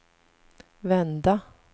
vända